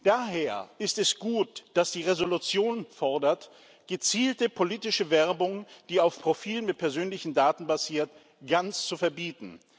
Daher ist es gut, dass die Entschließung fordert, gezielte politische Werbung, die auf Profilen mit persönlichen Daten basiert, ganz zu verbieten.